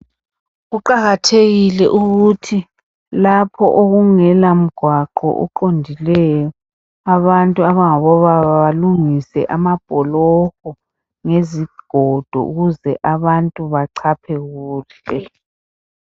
Kuqakathekile ukuthi lapho okungela mgwaqo oqondileyo, abantu abangabo baba balungise amabholoho ngesigodo ukuze abantu bachaphe kuhle.